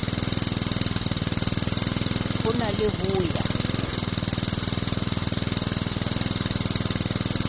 ho na le ho ya